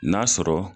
N'a sɔrɔ